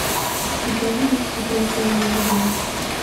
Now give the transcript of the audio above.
у тебя будут секреты эмили блэр